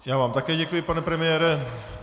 Já vám také děkuji, pane premiéra.